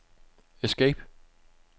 escape